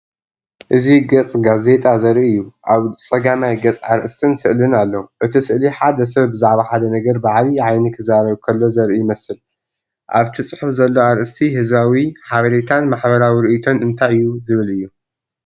እዚ ገጽ ጋዜጣ ዘርኢ እዩ። ኣብ ጸጋማይ ገጽ ኣርእስትን ስእልን ኣሎ። እቲ ስእሊ ሓደ ሰብ ብዛዕባ ሓደ ነገር ብዓቢ ዓይኒ ክዛረብ ከሎ ዘርኢ ይመስል። ኣብቲ ጽሑፍ ዘሎ ኣርእስቲ "ህዝባዊ ሓበሬታን ማሕበራዊ ርእይቶን እንታይ እዩ?"ዝብል እዩ።